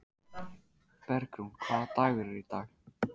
Bergrún, hvaða dagur er í dag?